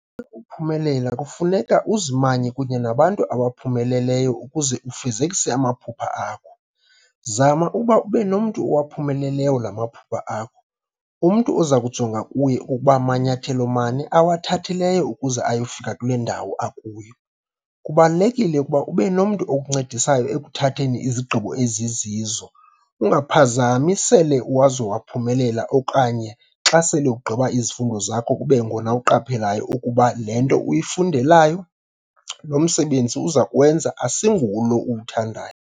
uphumelela kufuneka uzimanye kunye nabantu abaphumelelayo ukuze ufezekise amaphupha akho. Zama uba ubenomntu owaphumeleleyo lamaphupha akho ,umntu ozakujonga kuye uba manyathelo mani awathathileyo ukuze ayofika kulendawo akuyo. Kubalulekile uba ubenomntu okuncedisayo ekuthatheni izigqibo ezizizo ungaphazami sele uzowaphumelela okanye xa sele ugqiba izifundo zakho kubengona uqaphelayo ukuba lento uyifundeleyo - lomsebenzi uzakuwenza ayinguwo lo uwuthandayo.